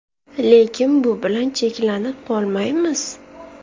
Lekin bu bilan cheklanib qolmaymiz.